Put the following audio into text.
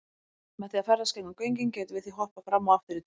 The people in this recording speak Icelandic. Með því að ferðast gegnum göngin gætum við því hoppað fram og aftur í tíma.